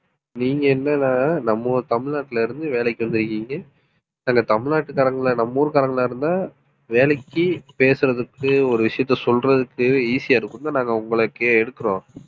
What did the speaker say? நீங்க என்னன்னா நம்ம ஊர் தமிழ்நாட்டுல இருந்து வேலைக்கு வந்திருக்கீங்க. சில தமிழ்நாட்டுக்காரங்களை நம்ம ஊர்க்காரங்களா இருந்தா வேலைக்கு பேசுறதுக்கு ஒரு விஷயத்த சொல்றதுக்கு easy ஆ இருக்கும்னுதான் நாங்க உங்களை எடுக்கிறோம்